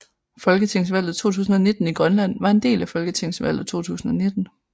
Folketingsvalget 2019 i Grønland var en del af folketingsvalget 2019